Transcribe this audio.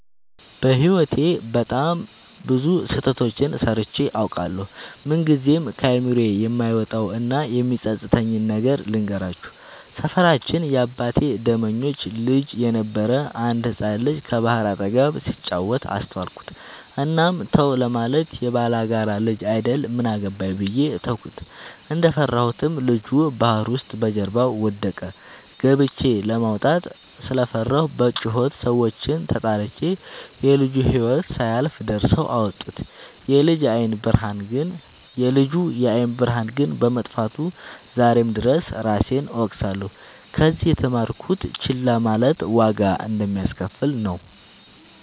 በህይወቴ በጣም ብዙ ስህተቶችን ሰርቸ አውቃለሁ። ምንግዜም ከአይምሮዬ የማይወጣው እና የሚፀፅተኝን ነገር ልንገራችሁ። ሰፈራችን የአባቴ ደመኞች ልጅ የነበረ አንድ ህፃን ልጅ ከባህር አጠገብ ሲጫወት አስተዋልኩት። እናም ተው ለማለት የባላጋራ ልጅ አይደል ምን አገባኝ ብዬ ተውኩት። እንደፈራሁትም ልጁ ባህር ውስጥ በጀርባው ወደቀ። ገብቸ ለማውጣት ስለፈራሁ በጩኸት ሰዎችን ተጣርቸ የልጁ ህይወት ሳያልፍ ደርሰው አወጡት። የልጁ የአይን ብርሃን ግን በመጥፋቱ ዛሬም ድረስ እራሴን እወቅሳለሁ። ከዚህ የተማርኩት ችላ ማለት ዋጋ እንደሚያሰከፍል ነው።